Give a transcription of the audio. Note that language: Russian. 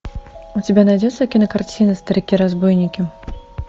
у тебя найдется кинокартина старики разбойники